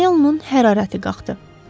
Panelunun hərarəti qalxdı.